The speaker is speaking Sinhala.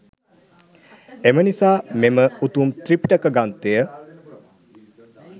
එම නිසා මෙම උතුම් ත්‍රිපිටක ග්‍රන්ථය